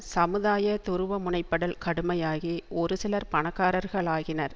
சமுதாய துருவமுனைப்படல் கடுமையாகி ஒரு சிலர் பணக்காரர்களாகினர்